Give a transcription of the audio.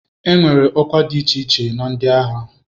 Enwere ọkwa dị iche iche na ndị agha.